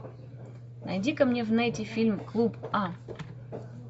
найди ка мне в нете фильм клуб а